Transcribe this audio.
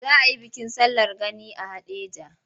Za a yi bikin sallar gani a Haɗeja.